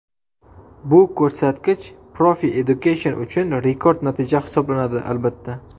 Bu ko‘rsatkich Profi Education uchun rekord natija hisoblanadi, albatta.